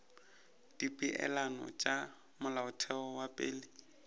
dipeelano tša molaotheo wa pele